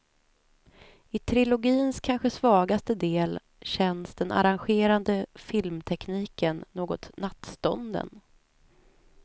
I trilogins kanske svagaste del känns den arrangerade filmtekniken något nattstånden.